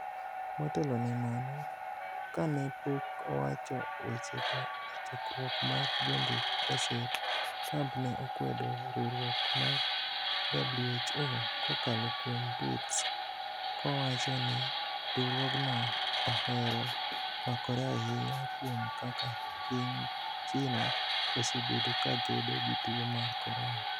Motelo ne mano, kane pok owacho wechego e chokruok mar jondik gaset, Trump ne okwedo riwruok mar WHO kokalo kuom tweets, kowacho ni riwruogno ohero pakore ahinya kuom kaka piny China osebedo ka kedo gi tuo mar Corona.